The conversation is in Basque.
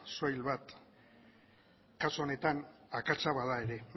soil bat kasu honetan akatsa bada ere